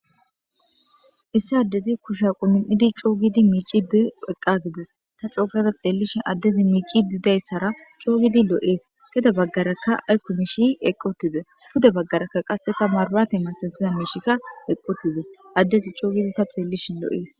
Issi addezi kusha qunum7idi coogidi miicidi eqqa gides. Ta cookata xeellishi addezi miici diyayssara coo giidi loo7ees geda baggaraka aykko miishi eqqotide puda baggaraka qasseta marbate misatida miishikka eqqotide addezi coogidi ta xeellishin loo7ees.